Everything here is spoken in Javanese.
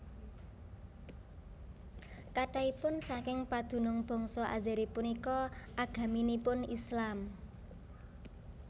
Kathahipun saking padunung bangsa Azeri punika agaminipun Islam